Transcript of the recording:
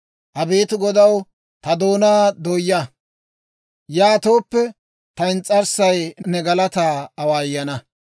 Abeet Godaw, ta doonaa dooyaa; yaatooppe, ta ins's'arssay ne galataa awaayana.